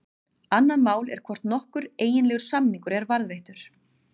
Annað mál er hvort nokkur eiginlegur samningur er varðveittur.